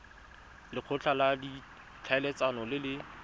lekgotla la ditlhaeletsano le le